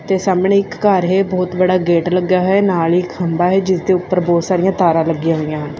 ਤੇ ਸਾਹਮਣੇ ਇੱਕ ਘਰ ਹੈ ਬਹੁਤ ਬੜਾ ਗੇਟ ਲੱਗਿਆ ਹੋਇਆ ਨਾਲ ਹੀ ਖੰਭਾ ਹੈ ਜਿਸਦੇ ਉਪਰ ਬਹੁਤ ਸਾਰੀਆਂ ਤਾਰਾਂ ਲੱਗੀਆਂ ਹੋਈਆਂ ਹਨ।